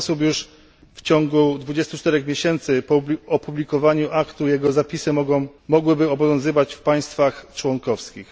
W ten sposób już w ciągu 24 miesięcy po opublikowaniu aktu jego zapisy mogłyby obowiązywać w państwach członkowskich.